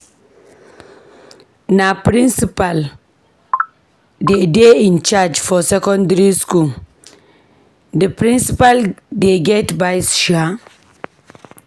Na principal dey dey in-charge for secondary skool, di principal dey get vice shaa.